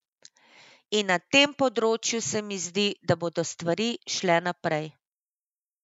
In na tem področju se mi zdi, da bodo stvari šle naprej.